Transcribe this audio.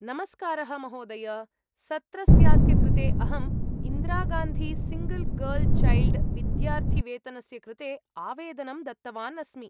नमस्कारः महोदय, सत्रस्यास्य कृते अहम्‌ इन्दिरागान्धीसिङ्गल् गर्ल् चैल्ड् विद्यार्थिवेतनस्य कृते आवेदनं दत्तवान् अस्मि।